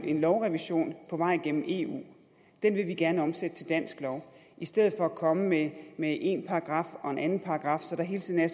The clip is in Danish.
en lovrevision på vej gennem eu og den vil vi gerne omsætte til dansk lov i stedet for at komme med med en paragraf og en anden paragraf så der hele tiden er